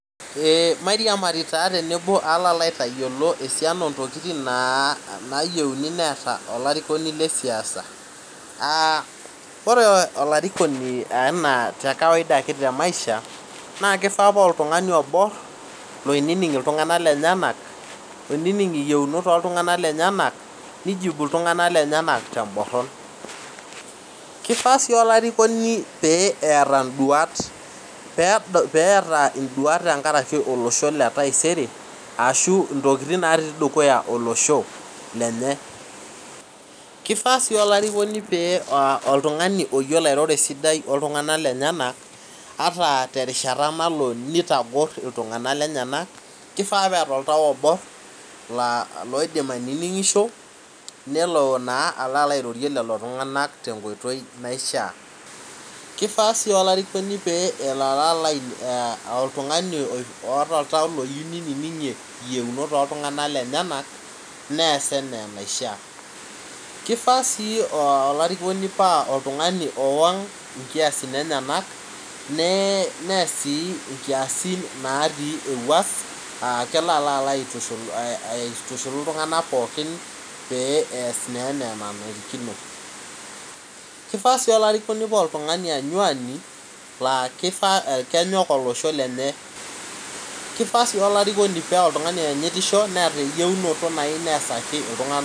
mairiamari taa tenebo aloo aitayiolo esiana oo ntokiting naa naarikino neeta olarikoni le siasa ore olarikoni naa kawaida ake te maisha na keifaa paa oltungani oborr loinining iltunganak lenyenak loinining iyieunot oo ltunganak lenyenak neijibuiltunganka lenyenak temborron , keifaa sii olarikoni peeta induat peeta induat tenkaraki olosho le taisere aashu intokiting naati dukuya olosho lenye, keifaa si olarikoni paa oltungani oyiolo airoro esidai oltunganak lenyenak ata terishata nalo neitogorr iltunganak lenyenak keifaa peeta oltau oborr laidim aininingisho nelo naa arorie lelo tunganak tenkoitoi naishaa , keifaa sii olarikoni pa oltungani oata oltau oyieu neininingie iyieunot oo ilunganak lenyenak nees anaa enaisha ,keifaa sii olarikoni paa oltungani oang inkiyasin enyenak nees sii inkiyasin naati ewuas kelo alaitushulu iltunganak pookin pee ees naa ena enarikino , keifaa sii olarikoni paa oltungani anyuani laa kenyook olosho lenyee , keifaa sii olarikoni paa oltungani oanyitisho neeta enjeunoto nayie neesake iltungana